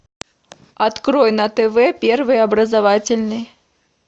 открой на тв первый образовательный